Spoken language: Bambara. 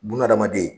Bununa hadamaden